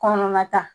Kɔnɔna ta